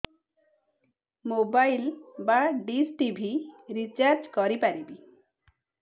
mobile ବା dish TV recharge କରି ପାରିବି